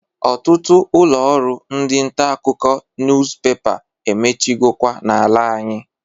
Ọtụtụ ụlọ ọrụ ndi ntakụkọ nuspepa emechigokwa na-ala anyị.